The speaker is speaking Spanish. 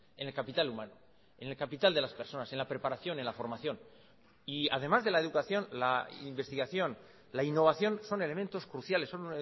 en el capital humano en el capital de las personas en la preparación en la formación y además de la educación la investigación la innovación son elementos cruciales son